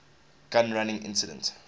gun running incident